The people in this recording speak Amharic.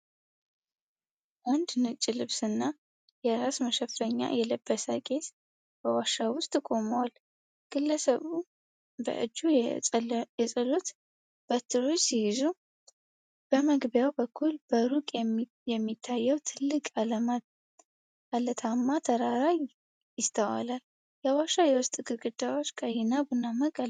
አንድ ነጭ ልብስና የራስ መሸፈኛ የለበሰ ቄስ በዋሻ ውስጥ ቆመዋል። ግለሰቡ በእጁ የጸሎት በትሮች ሲይዙ፣ በመግቢያው በኩል በሩቅ የሚታየው ትልቅ ዓለታማ ተራራ ይስተዋላል። የዋሻው የውስጥ ግድግዳዎች ቀይና ቡናማ ቀለም አላቸው።